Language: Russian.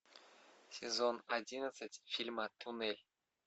сезон одиннадцать фильма тунель